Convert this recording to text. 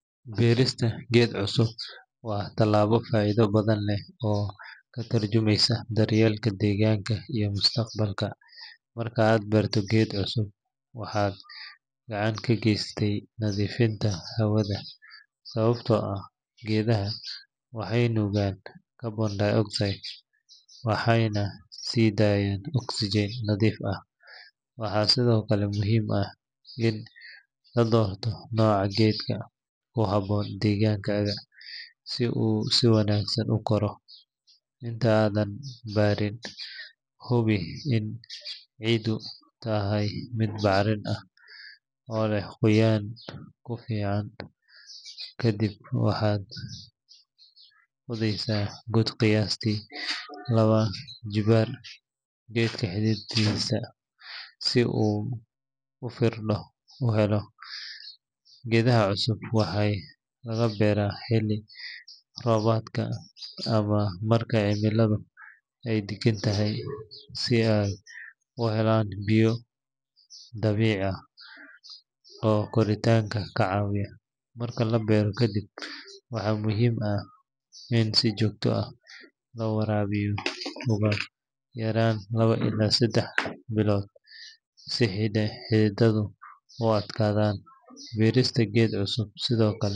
Beerista geed cusub waa tallaabo faa’iido badan leh oo ka tarjumaysa daryeelka deegaanka iyo mustaqbalka. Marka aad beerto geed cusub, waxaad gacan ka geysanaysaa nadiifinta hawada sababtoo ah geedaha waxay nuugaan carbon dioxide waxayna sii daayaan oxygen nadiif ah. Waxaa sidoo kale muhiim ah in la doorto nooca geedka ku habboon deegaankaaga si uu si wanaagsan u koro. Inta aadan beerin, hubi in ciiddu tahay mid bacrin ah oo leh qoyaan ku filan, kadib waxaad qodaysaa god qiyaastii laba jibbaar geedka xididkiisa si uu firaaqo u helo. Geedaha cusub waxaa lagu beeraa xilli roobaadka ama marka cimiladu ay deggan tahay, si ay u helaan biyo dabiici ah oo koritaanka ka caawiya. Marka la beero kaddib, waxaa muhiim ah in si joogto ah loo waraabiyo ugu yaraan laba ilaa saddex bilood si xididdadu u adkaadaan. Beerista geed cusub sidoo kale.